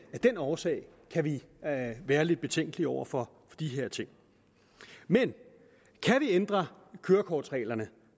den årsag kan vi være lidt betænkelige over for de her ting men kan vi ændre kørekortsreglerne